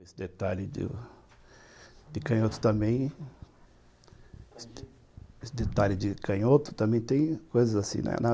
Esse detalhe de canhoto também, esse detalhe de canhoto também tem coisas assim, né?